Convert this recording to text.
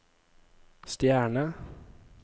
stjerne